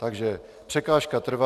Takže překážka trvá...